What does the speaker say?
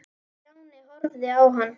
Stjáni horfði á hann.